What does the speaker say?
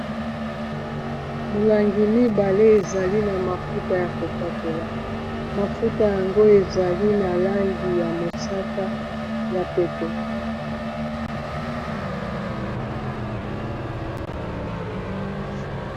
Molangi mibale ezali na mafuta ya kopakola mafuta yango ezali na langi ya mosaka ya pete.